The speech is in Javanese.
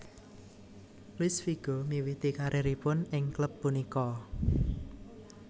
Luis Figo miwiti karieripun ing klub punika